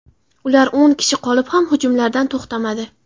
Ular o‘n kishi qolib ham hujumlardan to‘xtamadi.